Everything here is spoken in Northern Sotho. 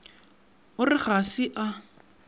o re ga se a